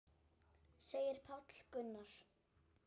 segir Páll Gunnar.